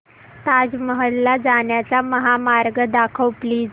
ताज महल ला जाण्याचा महामार्ग दाखव प्लीज